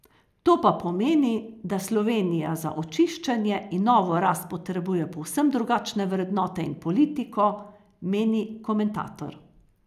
To pa pomeni, da Slovenija za očiščenje in novo rast potrebuje povsem drugačne vrednote in politiko, meni komentator.